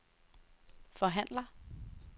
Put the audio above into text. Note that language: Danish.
forhandler